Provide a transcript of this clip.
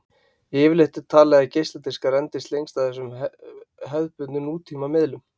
Yfirleitt er talið að geisladiskar endist lengst af þessum hefðbundnu nútíma miðlum.